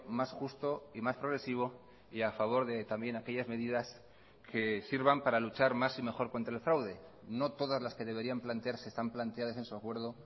más justo y más progresivo y a favor de también aquellas medidas que sirvan para luchar más y mejor contra el fraude no todas las que deberían plantearse están planteadas en su acuerdo